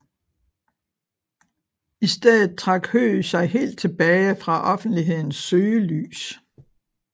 I stedet trak Høeg sig helt tilbage fra offentlighedens søgelys